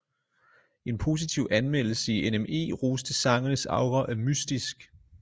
En positiv anmeldelse i nme roste sangenes aura af mystisk